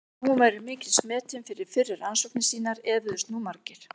Þótt hún væri mikils metin fyrir fyrri rannsóknir sínar efuðust nú margir.